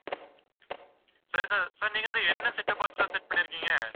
சரி sir, sir நீங்க அதை என்ன set-top box sir set பண்ணியிருக்கீங்க?